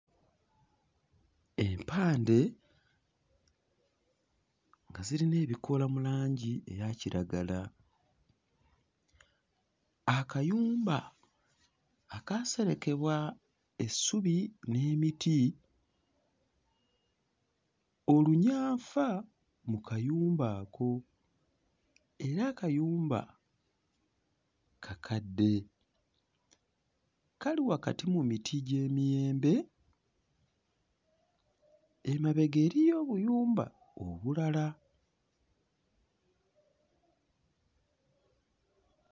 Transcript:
Empande nga zirina ebikoola mu langi eya kiragala. Akayumba akaaserekebwa essubi n'emiti, olunyanfa mu kayumba ako, era akayumba kakadde. Kali wakati mu miti gy'emiyembe, emabega eriyo obuyumba obulala.